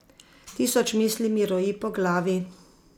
Tisoč misli mi roji po glavi.